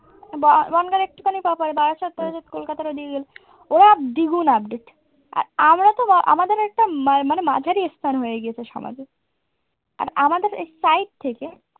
বনগাঁর একটুখানি প্রপার বারাসাত কলেজের কলকাতাটা দিয়ে গেলে ওরা দ্বিগুণ update আর আমরা তো আমাদের একটা মানে মাঝারি হয়ে গেছে সমাজে। আর আমাদের side থেকে